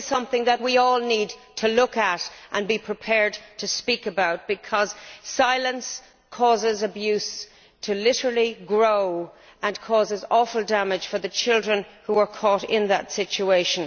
This is something that we all need to look at and be prepared to speak about, because silence causes abuse to grow, and causes awful damage to the children who are caught in that situation.